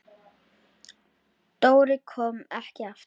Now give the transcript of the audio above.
Ég elska þig pabbi.